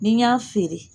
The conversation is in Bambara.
Ni n y'a feere